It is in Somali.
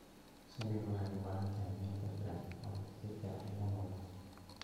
Shinnidu waxay u baahan tahay meel ku filan oo ay si fiican ugu noolaato.